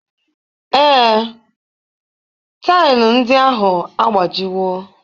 Ee, taịlị ndị ahụ agbajiwo